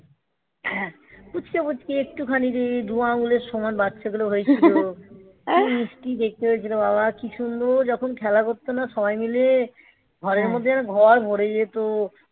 পুঁচকে পুঁচকে রে একটুখানিরে ধোঁয়া আঙুলের সমান বাচ্চাগুলো হয়েছিল কি মিষ্টি দেখতে হয়েছিল বাবা কি সুন্দর যখন খেলা করতো না সবাই মিলে ঘরের মধ্যে যেন ঘর ভরে যেত